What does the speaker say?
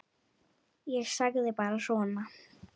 Ég sagði bara svona.